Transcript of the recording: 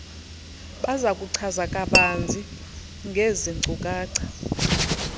bazakuchaza kabanzi ngeezinkcukacha